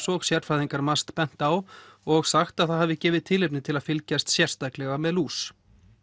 og sérfræðingar MAST bent á og sagt að það hafi gefið tilefni til að fylgjast sérstaklega með lús